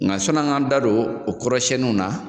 Nka sɔnni an k'a da don o kɔrɔsɛniw na